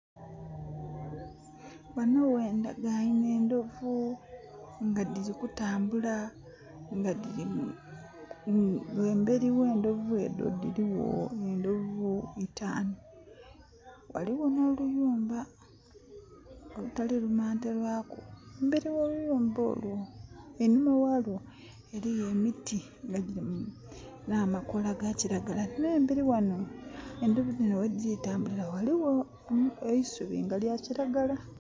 Ghano ghendageinhe endhovu nga dhiri kutambula, ghamberi ghe ndhovu edho dhirigho iitanu, ghalihho nho luyumba olutali lumante lwaku. Emberi gho luyumba olwo einhima ghalwo ghaligho emiti edhiriku amakola ga kilagala. Nhemberi ghano endhovu dhino ghedhiri ku tambulila ghaligjo eisubi nga lya kilagala.